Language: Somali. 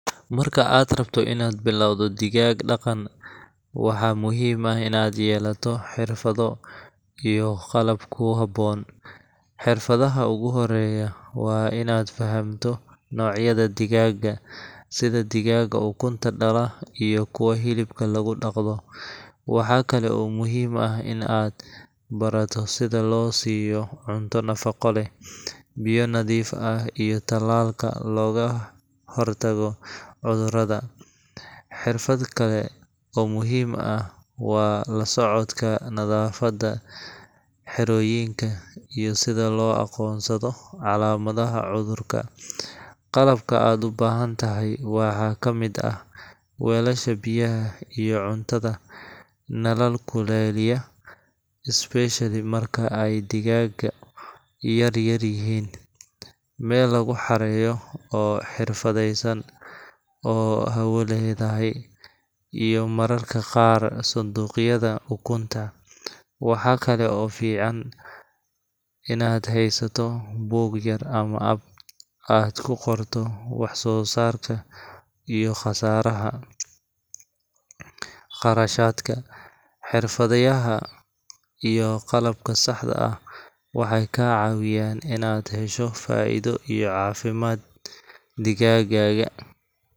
Marka aad rabto inaad bilowdo digaag-dhaqan, waxaa muhiim ah inaad yeelato xirfado iyo qalab ku habboon. Xirfadaha ugu horreeya waa inaad fahamto noocyada digaagga, sida digaagga ukunta dhala iyo kuwa hilibka lagu dhaqdo. Waxa kale oo muhiim ah in aad barato sida loo siiyo cunto nafaqo leh, biyo nadiif ah, iyo tallaalka looga hortago cudurrada. Xirfad kale oo muhiim ah waa la socodka nadaafadda xerooyinka iyo sida loo aqoonsado calaamadaha cudurka. Qalabka aad u baahan tahay waxaa ka mid ah: weelasha biyaha iyo cuntada, nalal kululeeya especially marka ay digaagu yaryar yihiin), meel lagu xareeyo oo xirfadeysan oo hawo leedahay, iyo mararka qaar sanduuqyada ukunta. Waxaa kale oo fiican inaad haysato buug yar ama app aad ku qorto wax-soosaarka iyo khasaaraha, kharashaadka. Xirfadaha iyo qalabka saxda ah waxay kaa caawinayaan inaad hesho faa’iido iyo caafimaad digaaggaaga